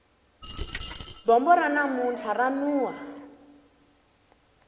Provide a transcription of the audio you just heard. bombo ra namuntlha ra nuha